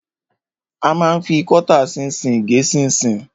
A ma ń fi kọ́tà ṣinṣin gé ṣinṣin.